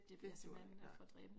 Det duer ikke nej